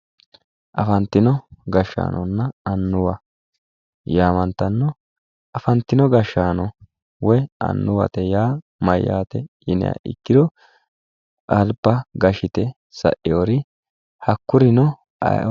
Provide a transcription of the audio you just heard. Afantino gashshaanonna annuwa yaamantanno, afantino gashshaano woy annuwate yaa mayyaate yiniha ikkiro alba gashshite sa'eewori hakkurino ayeo